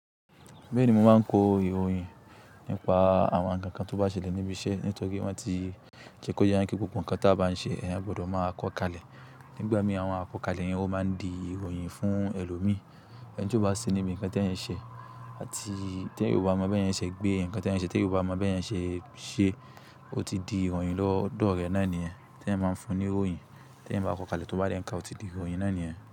Bẹ́ẹ̀ ni mo máa ń kọ ìròyìn nípa àwọn ǹkan kan tó bá ṣẹlẹ̀ níbi iṣẹ́, nítorí wọ́n ti jẹ́ kó yẹ kí gbogbo ǹkan tí a bá ń ṣe, ẹ̀yin gbọdọ̀ máa kọ̀ kalẹ̀. Nígbà mí àwọn akọ̀kalẹ̀ yẹn ó máa ń di ìròyìn fún ẹlòmíì. Ẹni tí ó bá ṣẹ níbi ǹkan tí èèyàn ṣe àti tí èèyàn ò bá mọ bí ẹ̀yin ṣe gbé ǹkan tí èèyàn ṣe tí èèyàn ò bá mọ bí èèyàn ṣe ṣe, ó ti di ìròyìn lọ́dọ̀ rẹ̀ náà nìyẹn Tí èèyàn bá fún un ní ìròyìn, tí èèyàn bá kọ̀ kalẹ̀ tó bá rí ǹkan, ó ti di ìròyìn náà ní nìyẹn.